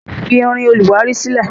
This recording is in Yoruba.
Fi irin olùwárí sílẹ̀!